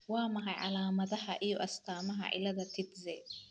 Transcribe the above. Waa maxay calaamadaha iyo astaamaha cillada Tietze ?